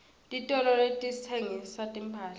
titolo letitsengisa timphahla